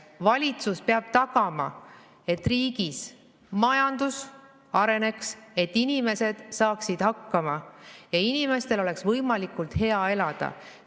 Valitsus peab tagama, et riigis majandus areneks, et inimesed saaksid hakkama ja et inimestel oleks võimalikult hea elada.